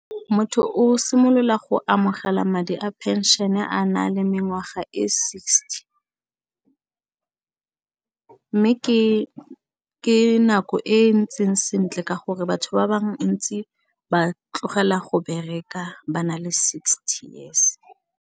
Motho o simolola go amogela madi a phenšene a na le mengwaga e sixty mme ke nako e ntseng sentle ka gore batho ba ntsi ba tlogela go bereka ba na le sixty years.